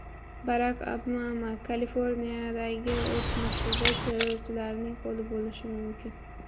Barak Obama: Kaliforniyadagi otishmada terrorchilarning qo‘li bo‘lishi mumkin.